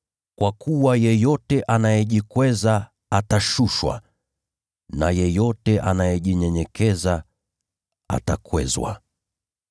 Kwa kuwa yeyote anayejikweza atashushwa, na yeyote anayejinyenyekeza atakwezwa.